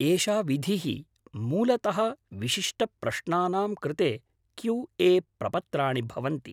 एषा विधिः मूलतः विशिष्टप्रश्नानां कृते क्यू ए प्रपत्राणि भवन्ति।